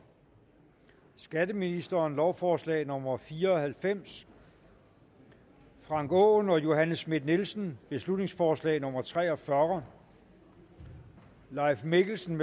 skatteministeren lovforslag nummer l fire og halvfems frank aaen og johanne schmidt nielsen beslutningsforslag nummer b tre og fyrre leif mikkelsen